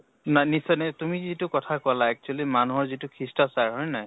না নিশ্চয় নি তুমি যিটো কথা কʼলা actually মানুহৰ যিটো সিষ্টাচাৰ হয় নে নহয় ?